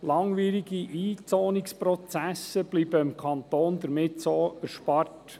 Langwierige Einzonungsprozesse bleiben dem Kanton somit erspart.